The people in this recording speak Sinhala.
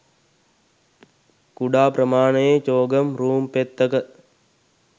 කුඩා ප්‍රමාණයේ චෝගම් රූං පෙත්තක